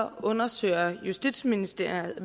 undersøger justitsministeriet